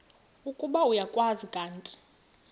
ukuba uyakwazi kanti